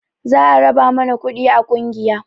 Za a raba mana kuɗi a ƙungiya